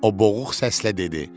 o boğuq səslə dedi.